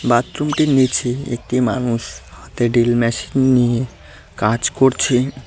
বাথরুমটির নীচে একটি মানুষ হাতে ড্রিল মেশিন নিয়ে কাজ করছে।